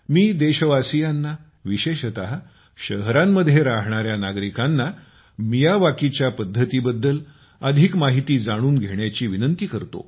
मी देशवासीयांना विशेषत शहरांमध्ये राहणाऱ्यांना नागरिकांना मियावाकीच्या पद्धतीबद्दल अधिक माहिती जाणून घेण्याची विनंती करतो